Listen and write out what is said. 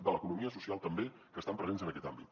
de l’economia social també que estan presents en aquest àmbit